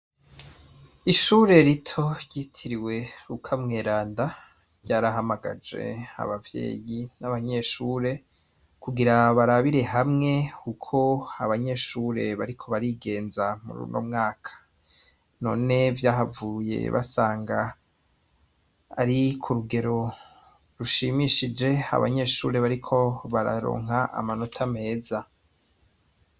Ishure rito ryitiriwe rukamweranda ryarahamagaje abavyeyi n'abanyeshure kugira barabire hamwe, kuko abanyeshure bariko barigenza mu runo mwaka none vyahavuye basanga ari ku rugero rushimishije abanyeshuri bariko bararonka amanota meza.